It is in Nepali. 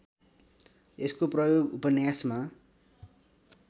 यसको प्रयोग उपन्यासमा